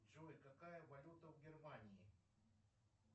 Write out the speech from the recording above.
джой какая валюта в германии